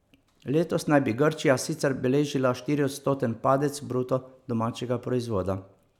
Letos naj bi Grčija sicer beležila štiriodstoten padec bruto domačega proizvoda.